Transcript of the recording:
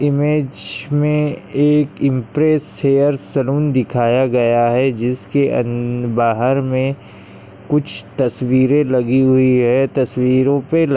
image मे एक impress hair salon दिखाया गया है जिसके अन बाहर मे कुछ तस्वीरे लगी हुई है तस्वीरोपे--